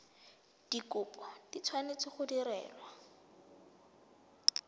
dikopo di tshwanetse go direlwa